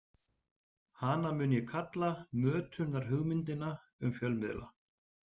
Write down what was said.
Hana mun ég kalla mötunarhugmyndina um fjölmiðla.